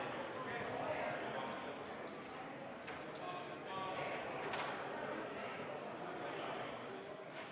Istungi lõpp kell 15.46.